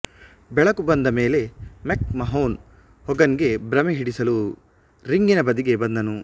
ಬೆಳಕು ಬಂದಮೇಲೆ McMahon Hogan ಗೆ ಭ್ರಮೆ ಹಿಡಿಸಲು ರಿಂಗಿನ ಬದಿಗೆ ಬಂದನು